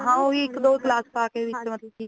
ਹਾਂ ਉਹ ਮਤਲੱਬ ਕੀ ਇੱਕ ਦੋ ਗਲਾਸ ਵਿਚ ਪਾ ਕੇ ਮਤਲੱਬ ਕੀ